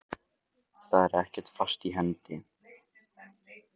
Það er ekkert fast í hendi.